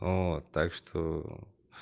вот так что ээ